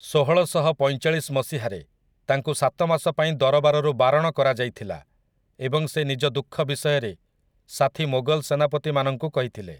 ଷୋହଳଶହ ପଇଁଚାଳିଶ ମସିହାରେ, ତାଙ୍କୁ ସାତ ମାସ ପାଇଁ ଦରବାରରୁ ବାରଣ କରାଯାଇଥିଲା, ଏବଂ ସେ ନିଜ ଦୁଃଖ ବିଷୟରେ ସାଥୀ ମୋଗଲ ସେନାପତି ମାନଙ୍କୁ କହିଥିଲେ ।